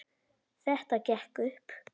Þetta gekk upp.